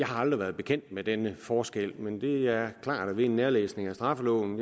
har været bekendt med denne forskel men det er klart at ved en nærlæsning af straffeloven